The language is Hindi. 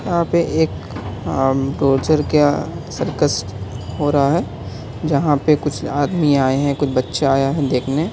यह पे एक आम सर्कस हो रहा है जहां पे कुछ आदमी आए है कुछ बच्चा आया है देखने।